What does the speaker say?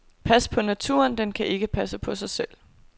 Pas på naturen, den kan ikke passe på sig selv.